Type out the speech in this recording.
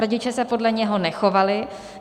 Rodiče se podle něho nechovali.